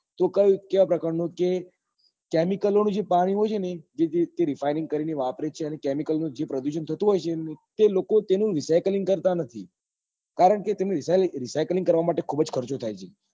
તો કયું કેવા પ્રકાર નું કે chemical વાળું જે પાણી હોય છે ને જે તે refine કરી ને વાપરે જ છે અને recycling જે પ્રદુષણ થતું હોય છે ને તે લોકો તેનું recycling કરતા નથી કારણ કે recycling કરવા માટે ખુબ જ ખર્ચો થાય છે